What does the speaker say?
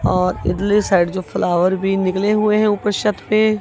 और इदली साइड जो फ्लावर भी निकले हुए हैं ऊपर छत पे--